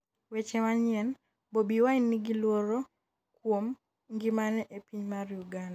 weche manyien, Bobi Wine nigi luoro kuom ngimane e piny mar Uganda